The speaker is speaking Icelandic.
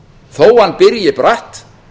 þó að hann byrji bratt